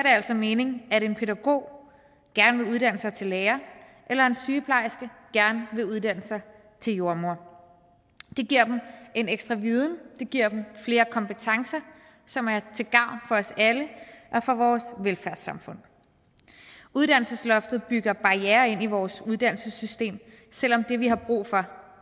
altså mening at en pædagog gerne vil uddanne sig til lærer eller at en sygeplejerske gerne vil uddanne sig til jordemor det giver dem en ekstra viden det giver dem flere kompetencer som er til gavn for os alle og for vores velfærdssamfund uddannelsesloftet bygger barrierer ind i vores uddannelsessystem selv om det vi har brug for